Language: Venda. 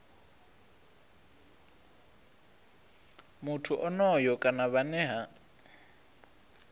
muthu onoyo kana vhane ha